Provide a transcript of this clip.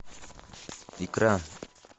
икра